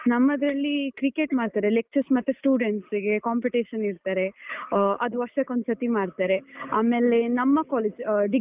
ನಮ್ಮದ್ರಲ್ಲಿ cricket ಮಾಡ್ತಾರೆ lectures ಮತ್ತೆ students ಗೆ competition ಇಡ್ತಾರೆ, ಅದು ವರ್ಷಕ್ಕೊಂದ್ ಸರ್ತಿ ಮಾಡ್ತಾರೆ. ಆಮೇಲೆ ನಮ್ಮ college ಆ